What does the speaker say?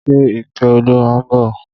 Ṣe Ìkẹ́olúwa ń bọ̀?